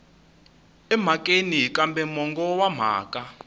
emhakeni kambe mongo wa mhaka